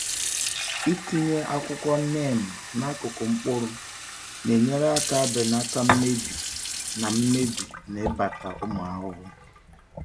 Ịtinye akwụkwọ neem n’akụkụ mkpụrụ na-enyere aka belata mmebi na mmebi na ịbata ụmụ ahụhụ.